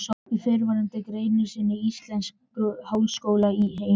Í fyrrnefndri grein sinni Íslenskur háskóli í Eimreiðinni